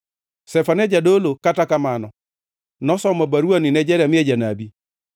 Zefania jadolo, kata kamano, nosomo baruwani ne Jeremia janabi.